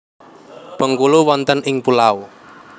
Bengkulu wonten ing pulau